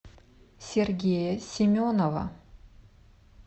сергея семенова